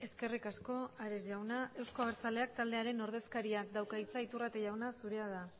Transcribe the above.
eskerrik asko ares jauna euzko abertzaleak taldearen ordezkariak dauka hitza iturrate jauna zurea da